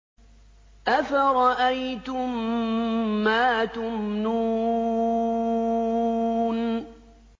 أَفَرَأَيْتُم مَّا تُمْنُونَ